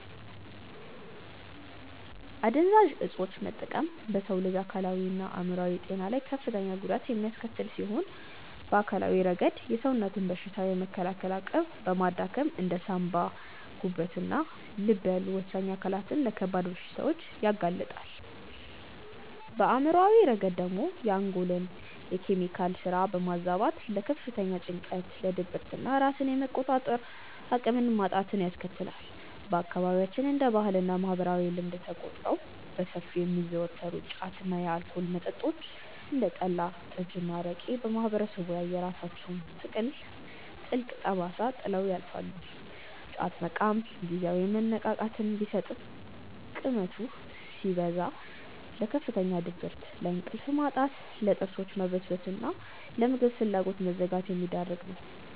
አደንዛዥ እፆችን መጠቀም በሰው ልጅ አካላዊና አእምሯዊ ጤና ላይ ከፍተኛ ጉዳት የሚያስከትል ሲሆን፣ በአካላዊ ረገድ የሰውነትን በሽታ የመከላከል አቅም በማዳከም እንደ ሳንባ፣ ጉበትና ልብ ያሉ ወሳኝ አካላትን ለከባድ በሽታዎች ያጋልጣል፤ በአእምሯዊ ረገድ ደግሞ የአንጎልን የኬሚካል ስራ በማዛባት ለከፍተኛ ጭንቀት፣ ለድብርትና ራስን የመቆጣጠር አቅምን ማጣትን ያስከትላል። በአካባቢያችን እንደ ባህልና ማህበራዊ ልማድ ተቆጥረው በሰፊው የሚዘወተሩት ጫት እና የአልኮል መጠጦች (እንደ ጠላ፣ ጠጅና አረቄ) በማህበረሰቡ ላይ የራሳቸውን ጥልቅ ጠባሳ ጥለው ያልፋሉ፤ ጫት መቃም ጊዜያዊ መነቃቃትን ቢሰጥም ቅመቱ ሲያበቃ ለከፍተኛ ድብርት፣ ለእንቅልፍ ማጣት፣ ለጥርሶች መበስበስና ለምግብ ፍላጎት መዘጋት የሚዳርግ ነው።